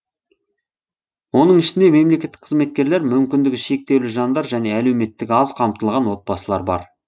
оның ішінде мемлекеттік қызметкерлер мүмкіндігі шектеулі жандар және әлеуметтік аз қамтылған отбасылар бар